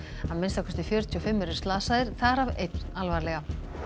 að minnsta kosti fjörutíu og fimm eru slasaðir þar af einn alvarlega